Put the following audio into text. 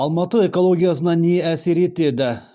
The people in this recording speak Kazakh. алматы экологиясына не әсер етеді